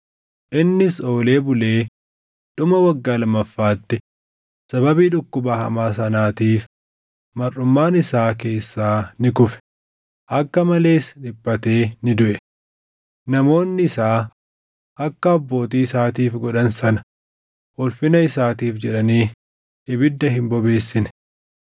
Innis oolee bulee dhuma waggaa lammaffaatti sababii dhukkuba hamaa sanaatiif marʼumaan isaa keessaa ni kufe; akka malees dhiphatee ni duʼe. Namoonni isaa akka abbootii isaatiif godhan sana ulfina isaatiif jedhanii ibidda hin bobeessine.